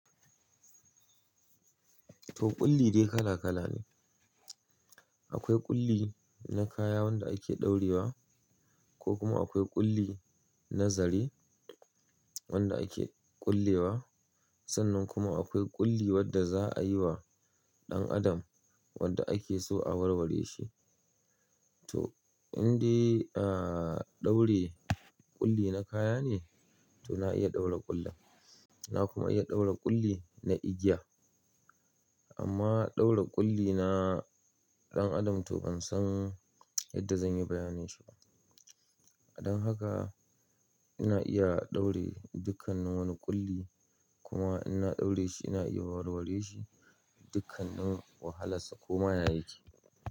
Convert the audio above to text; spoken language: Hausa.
To ƙulli dai kala kala ne. Akwai ƙulli na kaya wanda ake ɗaurewa ko kuma akwai ƙulli na zare wanda ake ƙullewa? Sannan kuma akwai ƙullewa da za'ayi wa ɗan adam wanda ake so a warware shi. To in dai, aaaa ɗaure-ƙulli na kaya ne, to na iya ɗaure ƙullin. Na kuma iya ɗaure ƙulli na igiya. Amma ɗaure ƙulli na ɗan Adam to ban san yadda zan yi bayanin shi ba. Dan haka, ina iya ɗaure dukkannin wani ƙulli, kuma in na ɗaure shi ina iya warware shi, dukkannin wahalarsa ko ma ya yake,